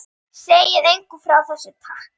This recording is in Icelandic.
Segið engum frá þessu, takk.